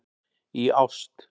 Í ást.